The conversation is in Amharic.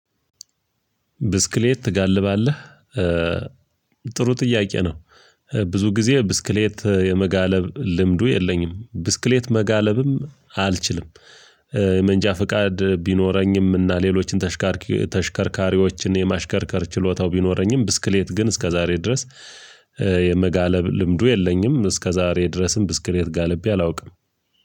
ብስክሌት ትጋልባለህ? ጥሩ ጥያቄ ነው። ብዙ ጊዜ ብስክሌት የመጋለብ ልምዱ የለኝም ብስክሌት መጋለብም አልችልም። የመንጃ ፍቃድ ቢኖረኝም እና ሌሎችን ተሽከርካሪዎችን የማሽከርከር ችሎታው ቢኖረኝም ብስክሌት ግን እስከዛሬ ድረስ የመጋለብ ልምዱ የለኝም። እስከዛሬ ድረስም ብስክሌት ጋልቤ አላውቅም።